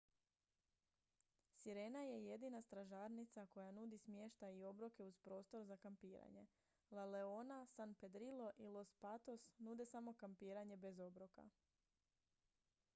sirena je jedina stražarnica koja nudi smještaj i obroke uz prostor za kampiranje la leona san pedrillo i los patos nude samo kampiranje bez obroka